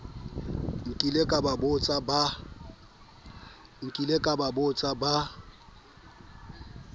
nnileng ba ba bokotsa ba